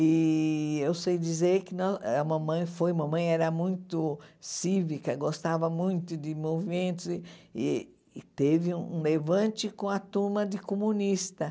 E eu sei dizer que nós a mamãe foi mamãe era muito cívica, gostava muito de movimentos, e teve um levante com a turma de comunista.